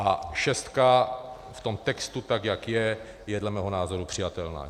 A šestka v tom textu, tak jak je, je dle mého názoru přijatelná.